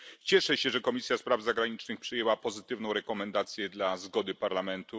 Cieszę się, że Komisja Spraw Zagranicznych przyjęła pozytywną rekomendację dla zgody Parlamentu.